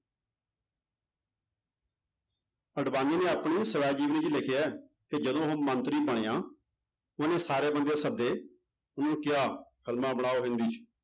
ਅਡਵਾਨੀ ਨੇ ਆਪਣੀ ਸਵੈ ਜੀਵਨੀ 'ਚ ਲਿਖਿਆ ਹੈ ਕਿ ਜਦੋਂ ਉਹ ਮੰਤਰੀ ਬਣਿਆ ਉਹਨੇ ਸਾਰੇ ਬੰਦੇ ਸੱਦੇ ਉਹਨੂੰ ਕਿਹਾ ਫਿਲਮਾਂ ਬਣਾਓ ਹਿੰਦੀ 'ਚ